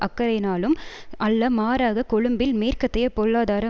அக்கறையினாலும் அல்ல மாறாக கொழும்பில் மேற்கத்தைய பொருளாதார